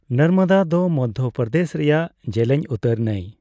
ᱱᱚᱨᱢᱚᱫᱟ ᱫᱚ ᱢᱚᱫᱽᱫᱷᱚ ᱯᱨᱚᱫᱮᱥ ᱨᱮᱭᱟᱜ ᱡᱮᱞᱮᱧ ᱩᱛᱟᱹᱨ ᱱᱟᱹᱭ ᱾